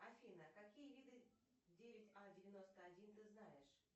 афина какие виды девять а девяносто один ты знаешь